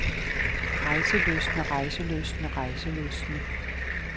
rejselystne rejselystne rejselystne